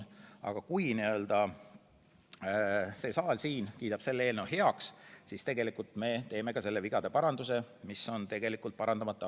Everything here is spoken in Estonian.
Aga kui me siin saalis kiidame selle eelnõu heaks, siis me tegelikult parandame vea, mis on 2002. aastast parandamata.